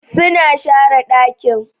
suna share dakin.